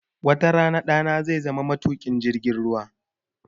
Wata rana ɗana zai zama matuƙin jirgin ruwa